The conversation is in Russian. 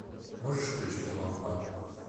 можешь включить лампа